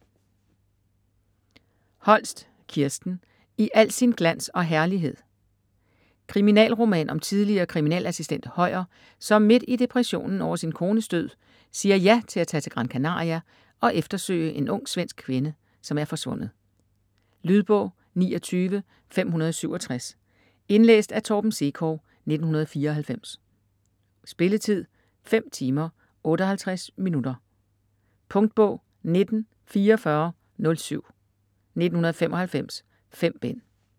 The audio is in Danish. Holst, Kirsten: I al sin glans og herlighed Kriminalroman om tidligere kriminalassistent Høyer, som midt i depressionen over sin kones død siger ja til at tage til Gran Canaria og eftersøge en ung svensk kvinde, som er forsvundet. Lydbog 29567 Indlæst af Torben Sekov, 1994. Spilletid: 5 timer, 58 minutter. Punktbog 194407 1995. 5 bind.